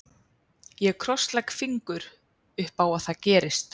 Ég krosslegg fingur upp á að það gerist.